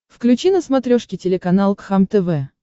включи на смотрешке телеканал кхлм тв